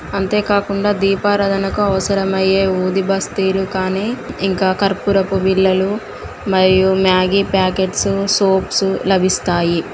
'' అంతే కాకుండా దీపరాధనకు అవసరమయ్యే''''ఊ ది బస్తీలు కాని ఇంకా కర్పూరపు బిళ్ళలు మరియు మాగి పాకెట్స్ సోప్స్ లభిస్తాయి ''